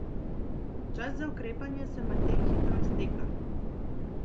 Čas za ukrepanje se medtem hitro izteka.